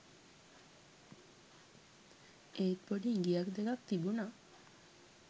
එත් පොඩි ඉඟියක් දෙකක් තිබුනා